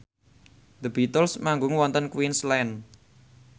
The Beatles manggung wonten Queensland